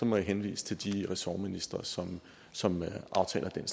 må jeg henvise til de ressortministre som som aftaler den